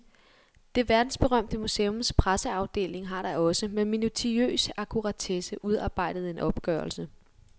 Det verdensberømte museums presseafdeling har da også, med minutiøs akkuratesse, udarbejdet en opgørelse.